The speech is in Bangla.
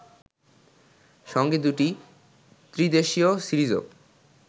সঙ্গে দুটি ত্রিদেশিয় সিরিজও